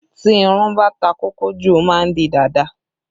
Tí irun bá ta kókó jù, ó má ń di dàda